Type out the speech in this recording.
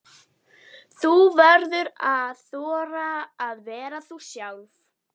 Þú verður að þora að vera þú sjálf.